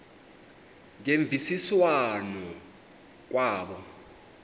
ngemvisiswano r kwabo